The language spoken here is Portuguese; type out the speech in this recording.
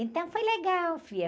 Então, foi legal, filha.